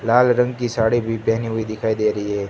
लाल रंग की साड़ी भी पहनी हुई दिखाई दे रही है।